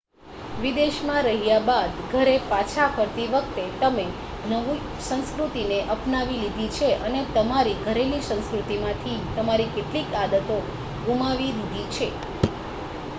વિદેશમાં રહ્યા બાદ ઘરે પાછા ફરતી વખતે તમે નવી સંસ્કૃતિને અપનાવી લીધી છે અને તમારી ઘરેલુ સંસ્કૃતિમાંથી તમારી કેટલીક આદતો ગુમાવી દીધી છે